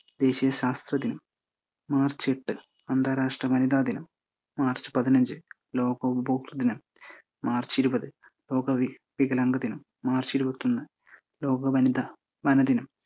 ദേശീയ ശാസ്ത്ര ദിനം, മാർച്ച് എട്ട് അന്താരാഷ്ട്ര വനിതാ ദിനം, മാർച്ച് പതിനഞ്ച് ലോകോൺ പോപ്പ് ദിനം, മാർച്ച് ഇരുപത് ലോക വി ~ വിഗലാംഗ ദിനം, മാർച്ച് ഇരുപത്തൊന്ന് ലോക വനിത വനദിനം